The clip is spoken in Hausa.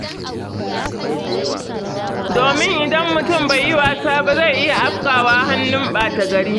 Domin idan mutum bai yi wasa ba zai iya afkawa hannun ɓata-gari.